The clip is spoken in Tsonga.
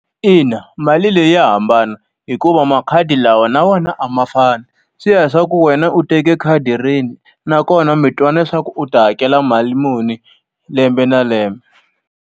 Ina mali leyi ya hambana hikuva makhadi lawa na wena a ma fani. Swi ya leswaku wena u teke khadi rini nakona mi twane leswaku u ta hakela mali muni lembe na lembe.